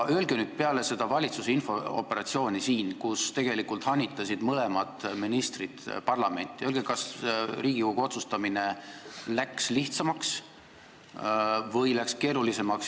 Öelge nüüd peale seda valitsuse infooperatsiooni, kus tegelikult mõlemad ministrid parlamenti hanitasid, kas Riigikogul läks otsustamine lihtsamaks või keerulisemaks.